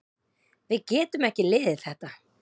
Við getum ekki liðið þetta.